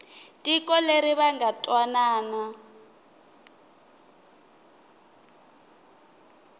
tiko leri va nga twanana